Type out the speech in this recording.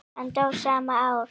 Hann dó svo sama ár.